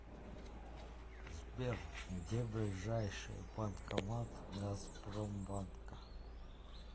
сбер где ближайший банкомат газпромбанка